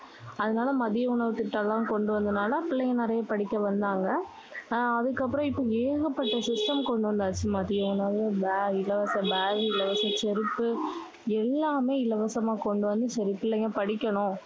அதனால மதிய உணவு திட்டம் எல்லாம் கொண்டு வந்தனால பிள்ளைங்க நிறைய படிக்க வந்தாங்க. ஆஹ் அதுக்கப்புறம் இப்போ ஏகப்பட்ட system கொண்டு வந்தாச்சு. மதிய உணவு, bag, இலவச bag, இலவச செருப்பு எல்லாமே இலவசமா கொண்டு வந்து, சரி பிள்ளைங்க படிக்கணும்.